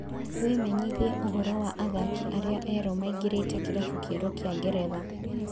Wĩmenyithie ũhoro wa athaki arĩa erũ maingĩrĩte kĩrabu kĩerũ kĩa Ngeretha.